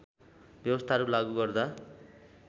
व्यवस्थाहरू लागू गर्दा